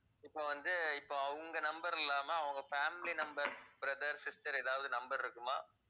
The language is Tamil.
இப்ப வந்து இப்ப அவங்க number இல்லாம அவங்க family number, brother, sister ஏதாவது number இருக்குமா?